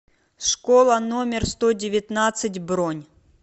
школа номер сто девятнадцать бронь